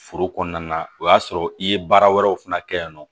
Foro kɔnɔna na o y'a sɔrɔ i ye baara wɛrɛw fana kɛ yen nɔ